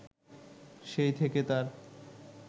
সেই থেকে তার